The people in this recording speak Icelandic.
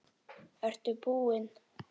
Ertu búinn?